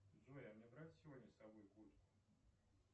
джой а мне брать сегодня с собой куртку